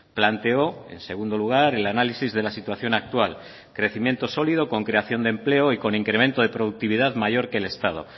planteó en segundo lugar el análisis de la situación actual crecimiento sólido con creación de empleo y con incremento de productividad mayor que el estado